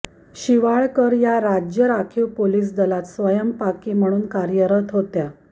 शिवाळकर या राज्य राखीव पोलिस दलात स्वयंपाकी म्हणून कार्यरत होत्या